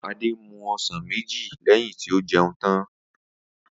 Adé mu o̩sàn méjì lé̩yìn tí ó je̩un tan